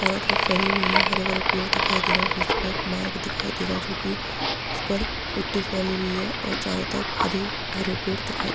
चरों तरफ फैली हुई है हरे-भरे पेड़ दिखाई दे रहे हैं बीच में एक मार्ग दिखाई दे रहा है जो की उस पर मिट्ठी फैली हुई है और चारो तरफ हरी हरे पेड़ दिखाई --